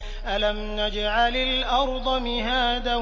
أَلَمْ نَجْعَلِ الْأَرْضَ مِهَادًا